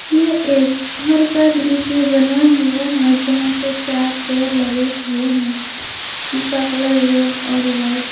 यह एक घर का दृश्य बना हुआ है यहां पे चार चेयर लगे हुए हैं जिसका कलर रेड और वाइट है।